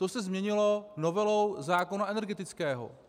To se změnilo novelou zákona energetického.